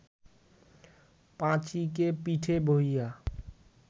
পাঁচীকে পিঠে বহিয়া